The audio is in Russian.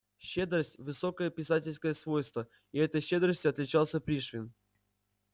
щедрость высокое писательское свойство и этой щедростью отличался пришвин